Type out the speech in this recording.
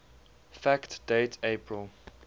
fact date april